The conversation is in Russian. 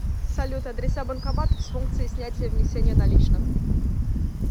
салют адреса банкоматов с функцией снятия внесения наличных